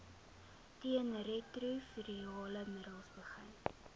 teenretrovirale middels begin